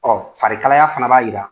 Ɔ farikalaya fana b'a jira.